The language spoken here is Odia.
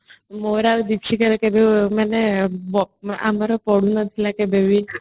ମୋର ଆଉ ଦୀପଶିକା ସେତେବେଳେ ମାନେ ଆମର ପଡୁନଥିଲା କେବେବି ହେଲେ